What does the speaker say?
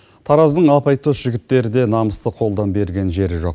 тараздың арбайтоз жігіттері де намысты қолдан берген жері жоқ